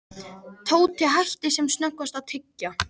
Tóti hætti sem snöggvast að tyggja.